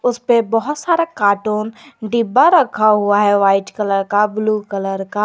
इस पे बहुत सारा कार्टून डिब्बा रखा हुआ है व्हाइट कलर का ब्लू कलर का।